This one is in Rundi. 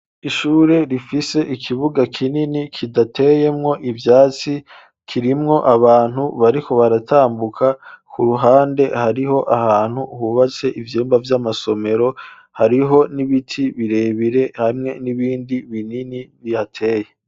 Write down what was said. Ishure rifise ikibuga kinini kidateyemwo ivyatsi, kirimwo abantu bariko baratambuka, k'uruhande hariho ahantu hubatse ivyumba vy'amasomero, hariho n'ibiti birebire hamwe n'ibindi binini bihateye.